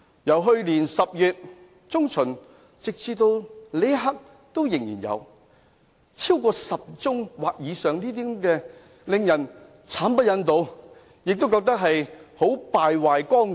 由去年10月中旬至此刻，發生10宗或以上的個案，當中議員的行為令人慘不忍睹，完全敗壞綱紀。